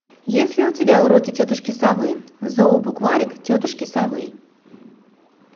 есть ли у тебя уроки тетушки совы зообукварик тетушки совы